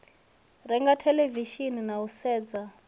renga theḽevishini na u sedza